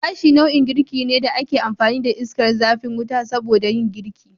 Gashi nau'in girki ne da ake amfani da iskar zafin wuta soboda yin girki